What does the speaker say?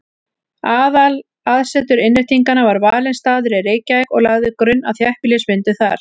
Aðalaðsetur Innréttinganna var valinn staður í Reykjavík og lagði grunn að þéttbýlismyndun þar.